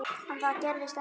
En það gerðist ekki.